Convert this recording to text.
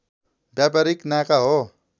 व्यापारीक नाका हो